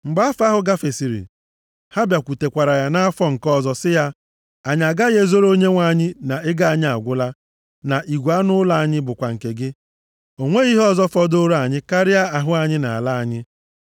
Mgbe afọ ahụ gafesịrị, ha bịakwutekwara ya nʼafọ nke ọzọ sị ya, “Anyị agaghị ezoro onyenwe anyị na ego anyị agwụla, na igwe anụ ụlọ anyị bụkwa nke gị. O nweghị ihe ọzọ fọdụrụ anyị karịa ahụ anyị na ala anyị.